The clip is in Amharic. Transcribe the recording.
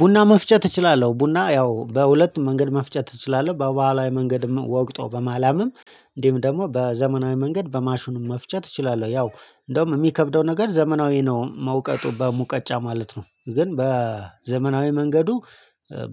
ቡና መፍጨት እችላለሁ። ቡና ያው በሁለቱም መንገድ መፍጨት እችላለሁ በበሃላዊው መንገድም ወቅጦ በማላመም እንዲሁም ደግሞ በዘመናዊ መንገድ በማሹኑ መፍቸት እችላለሁ። ያው እንደውም የሚከብደው ነገር ዘመናዊ ነው መውቀጡ በሙቀጫ ማለት ነው። ግን በዘመናዊ መንገዱ